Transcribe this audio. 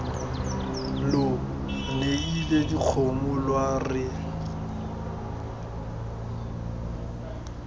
lo neile dikgomo lwa re